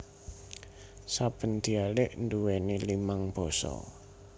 Saben dialek nduweni limang basa